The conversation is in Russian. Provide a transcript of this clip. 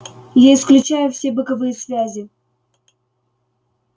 я исключаю все боковые связи